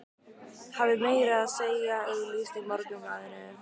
Hafði meira að segja auglýst í Morgunblaðinu.